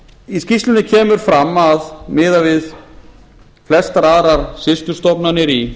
í skýrslunni kemur fram að miðað við flestar aðrar systurstofnanir í